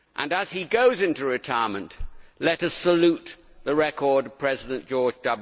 As he goes into retirement, let us salute the record of President George W.